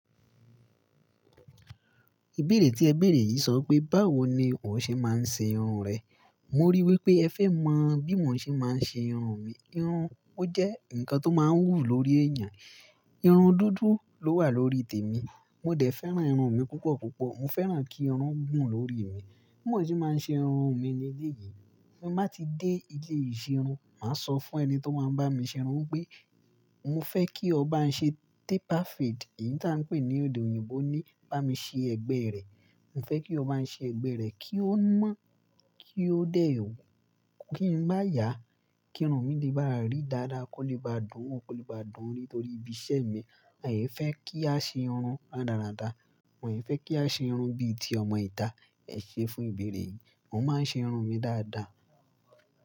Ìbéèrè tí ẹ béèrè yìí sọ pé, báwo ni òun ṣe máa ń ṣe irun rẹ̀? Mo rí i wí pé ẹ fẹ́ mọ bí mo ṣe máa ń ṣe irun mi. Irun jẹ́ nǹkan tó máa ń wù lórí èèyàn. Irun dúdú ló wà lórí tèmi. Mo dẹ̀ fẹ́ràn irun mi púpọ̀ púpọ̀. Mo fẹ́ràn kí irun gùn lórí mi. Bí mo ṣe máa ń ṣe irun mi ni léyìí, bí mo bá ti dé ilé ìṣerun, màá sọ fún ẹni tí ó máa ń bá mi ṣe irun pé, mo fẹ́ kí ọ bá ń ṣe taper fade. Èyí táa ń pè ní èdè òyìnbó ni bá mi ṣe ẹgbẹ́ rẹ̀. Mo fẹ́ kí o bá ń ṣe ẹgbẹ́ rẹ̀ kí ó mọ́, kí ó dé o, kí n bá yà, kí irun mi lè bá rí dáadáa, kó lè bá dùn wó, kó lè bá dùn nítorí ibi iṣẹ́ mi. Àní fẹ́ kí a ṣe irun rádaràda. Wọn fẹ́ kí á ṣe irun bí i ti ọmọ ìta. Ẹ ṣé fún ìbéèrè yìí. Mo máa ń ṣe irun mi dáadáa.